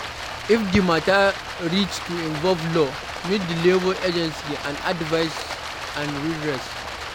If di matter reach to involve law, meet di labour agancy for advise and redress